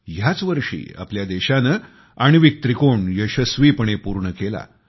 ह्याच वर्षी आपल्या देशाने आण्विक त्रिकोण यशस्वीपणे पूर्ण केला